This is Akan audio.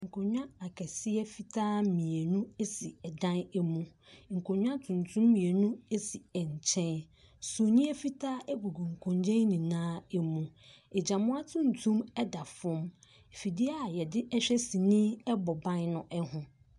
Nkondwa akɛseɛ fitaa mienu esi ɛdan emu nkondwa tuntum mienu esi nkyɛn sumie fitaa egugu nkondwa yi nyinaa e. Mu agynamoa tuntum ɛda fam fidie a yɛde hwɛ sene ɛbɔ ban no ɛho.